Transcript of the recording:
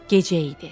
Gecə idi.